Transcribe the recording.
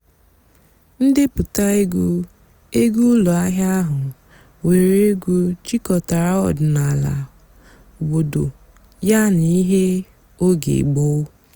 ǹdèpụ́tá ègwú ègwú ụ́lọ́ àhị́á àhú́ nwèré ègwú jikòtàrà ọ̀dị́náàlà òbòdo yàná íhé óge gbóó.